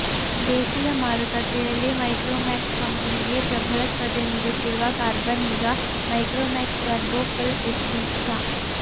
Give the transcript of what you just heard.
ದೇಶೀಯ ಮಾರುಕಟ್ಟೆಯಲ್ಲಿ ಮೈಕ್ರೋಮ್ಯಾಕ್ಸ್ ಕಂಪೆನಿಗೆ ಪ್ರಭಲ ಸ್ಪರ್ಧೆ ನೀಡುತ್ತಿರುವ ಕಾರ್ಬನ್ ಈಗ ಮೈಕ್ರೋಮ್ಯಾಕ್ಸ್ ಟರ್ಬೋ ಫುಲ್ಎಚ್ಡಿ ಸ